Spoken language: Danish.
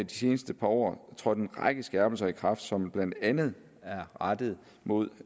de seneste par år trådt en række skærpelser i kraft som blandt andet er rettet mod